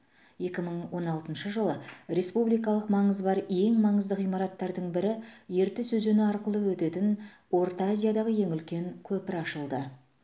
екі мың он алтыншы жылы республикалық маңызы бар ең маңызды ғимараттардың бірі ертіс өзені арқылы өтетін орта азиядағы ең үлкен көпір ашылды